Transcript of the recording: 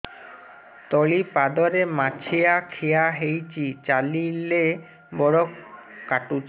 ତଳିପାଦରେ ମାଛିଆ ଖିଆ ହେଇଚି ଚାଲିଲେ ବଡ଼ କାଟୁଚି